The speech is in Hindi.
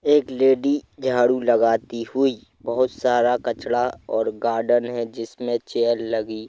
एक लेडी झाड़ू लगाती हुई बहुत सारा कचड़ा और गार्डन है जिसमें चेयर लगी--